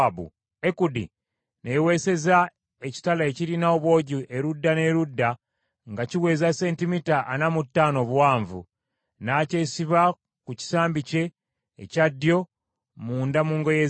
Ekudi ne yeewesezza ekitala ekirina obwogi erudda n’erudda nga kiweza sentimita ana mu ttaano obuwanvu. N’akyesiba ku kisambi kye ekya ddyo munda mu ngoye ze.